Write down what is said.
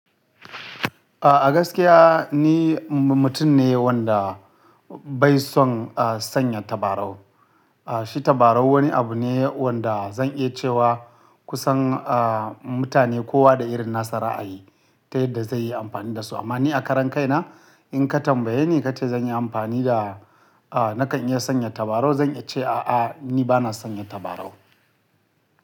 A gaskiya ni mutum ne wanda bai son sanya tabarau. Shi tabarau wani abu ne wanda zan iya cewa kusan mutane kowa da irin nasa ra'ayi ta yadda zai yi amfani da su. Amma ni a karan kai na in ka tambaye ni kace zan yi amfani da, nakan iya sanya tabarau zan iya ce a'a, ni bana sanya tabarau.